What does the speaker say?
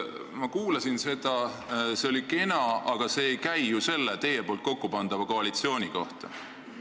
Ma kuulasin seda, see oli kena, aga see ei käi ju selle teie kokkupandava koalitsiooni kohta.